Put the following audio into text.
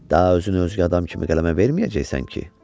Daha özünü özgə adam kimi qələmə verməyəcəksən ki.